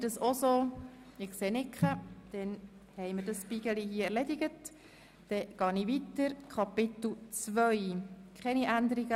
Wir sind der Meinung, dieser sei obsolet, weil wir Artikel 51 abgelehnt haben.